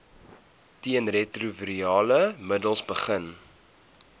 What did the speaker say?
teenretrovirale middels begin